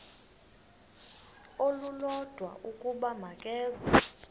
olulodwa ukuba makeze